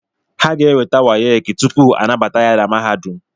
Ha ga-enweta wayeki tupu a nabata ya na mahadum